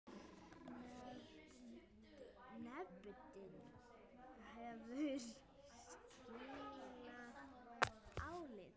Nefndin hefur skilað áliti.